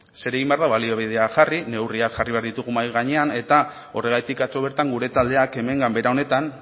zer egin behar da baliabideak jarri neurriak jarri behar ditugu mahai gainean eta horregatik atzo bertan gure taldeak hemen ganbara honetan